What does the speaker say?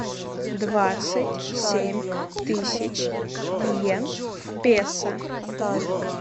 двадцать семь тысяч йен в песо